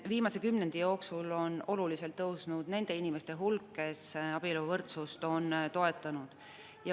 Viimase kümnendi jooksul on oluliselt tõusnud nende inimeste hulk, kes abieluvõrdsust toetavad.